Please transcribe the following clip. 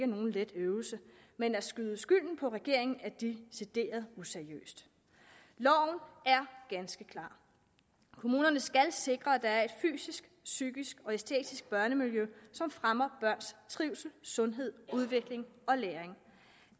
nogen let øvelse men at skyde skylden på regeringen er decideret useriøst loven er ganske klar kommunerne skal sikre at der er et fysisk psykisk og æstetisk børnemiljø som fremmer børns trivsel sundhed udvikling og læring